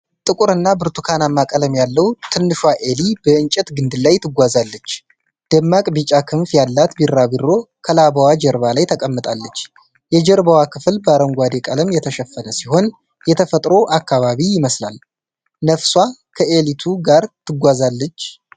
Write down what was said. ጥቁርና ብርቱካናማ ቀለም ያለው ትንሿ ኤሊ በእንጨት ግንድ ላይ ትጓዛለች። ደማቅ ቢጫ ክንፍ ያላት ቢራቢሮ ከላባዋ ጀርባ ላይ ተቀምጣለች። የጀርባው ክፍል በአረንጓዴ ቀለም የተሸፈነ ሲሆን የተፈጥሮ አካባቢ ይመስላል። ነፍሳቷ ከአዔሊቱ ጋር ተጉዛለች?